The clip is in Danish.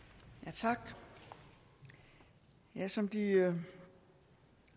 tak som de